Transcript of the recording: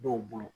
Dɔw bolo